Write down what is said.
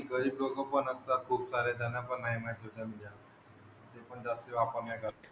आणि गरीब लोकं पण आता खूपसारे त्यांना पण नाही माहित सोशल मीडिया ते पण जास्ती वापर नाही करत.